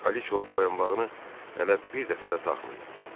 Kraliça o boyunbağını hələ bir dəfə də taxmayıb.